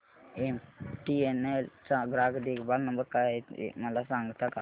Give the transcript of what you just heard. MTNL चा ग्राहक देखभाल नंबर काय आहे मला सांगता का